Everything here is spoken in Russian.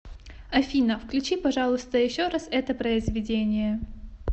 афина включи пожалуйста еще раз это произведение